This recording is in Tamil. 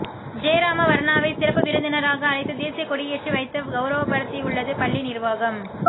ஜெயராம வர்ணாவை சிறப்பு விருந்தினராக அழைத்து தேசிய கொடியேற்றி வைத்து கவுரவப்படுத்தியுள்ளது பள்ளி நிர்வாகம்